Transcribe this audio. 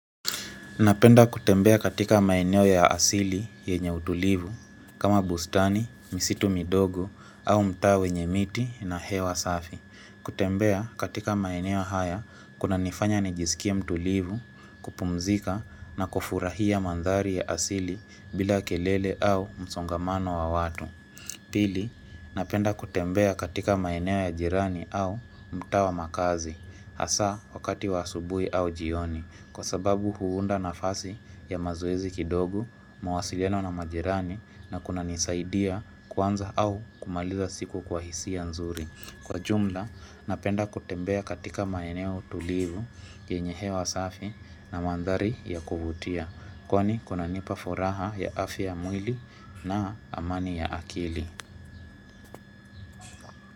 Napenda kutembea katika maeneo ya asili yenye utulivu kama bustani, misitu midogo au mtaa wenye miti na hewa safi. Kutembea katika maeneo haya kunanifanya nijisikia mtulivu kupumzika na kufurahia mandhali ya asili bila kelele au msongamano wa watu. Pili, napenda kutembea katika maeneo ya jirani au mutaa wa makazi, hasa wakati wasubui au jioni, kwa sababu huunda nafasi ya mazoezi kidogo, mawasiliano na majirani na kuna nisaidia kwanza au kumaliza siku kwa hisi nzuri. Kwa jumla, napenda kutembea katika maeneo tulivu, yenye hewa safi na mandhali ya kuvutia. Kwani kuna nipa furaha ya afya ya mwili na amani ya akili.